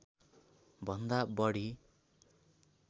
भन्दा बढी